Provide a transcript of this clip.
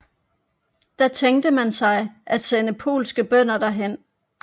Da tænkte man sig at sende polske bønder derhen